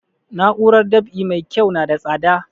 Na'urar dab'i mai kyau na da tsada